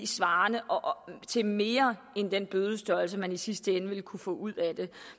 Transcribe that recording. svarer til mere end den bødestørrelse man i sidste ende ville kunne få ud af det